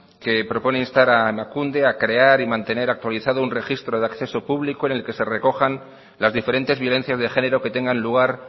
que propone instar a emakunde a crear y mantener actualizado un registro de acceso público en el que se recojan las diferentes violencias de género que tengan lugar